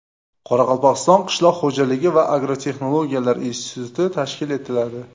Qoraqalpog‘iston qishloq xo‘jaligi va agrotexnologiyalar instituti tashkil etiladi.